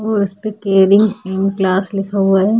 और उसपे caring in class लिखा हुआ है।